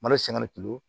Malo siɲɛ